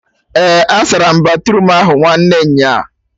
Eh, asaram batruum ahụ nwanne nyaa